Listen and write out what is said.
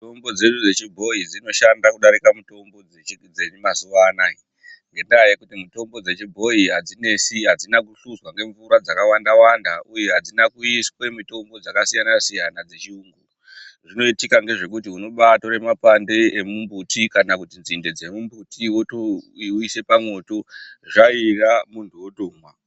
Mitombo dzedu dzechibhoyi dzinoshanda kudarika mitombo dzemazuwa anaa ngendaa yekuti mitombo dzechibhoyi adzinesi, adzina kuhluzwa ngemvura dzakawanda wanda uye adzina kuiswe mitombo dzakasiyana siyana dzechiyungu. Zvinoitika ngezvekuti unombaatore mashakani emumbuti, kana kuti nzinde dzemumbuti woise pamwoto zvaira munhu wotomwa.